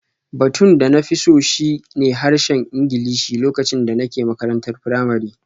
Batun da na fi so shi ne harshen Ingilishi lokacin da nake makarantar firamare